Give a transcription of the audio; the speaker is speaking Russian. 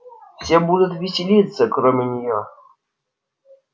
все будут веселиться кроме неё